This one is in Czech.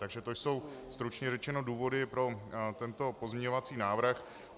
Takže to jsou stručně řečeno důvody pro tento pozměňovací návrh.